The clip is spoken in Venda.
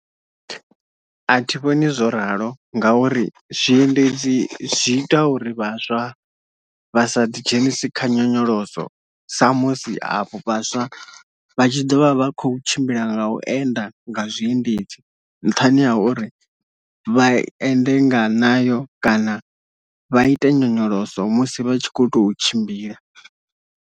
A thi vhoni zwo ralo ngauri zwiendedzi zwi ita uri vhaswa vhasa ḓi dzhenise kha nyonyoloso sa musi avho vhaswa vha tshi ḓo vha vha khou tshimbila nga u enda nga zwiendedzi nṱhani ha uri vha ende nga nayo kana vha ite nyonyoloso musi vha tshi khou tou tshimbila.